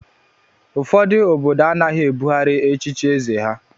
Ụfọdụ obodo anaghị ebughari echichi eze ha.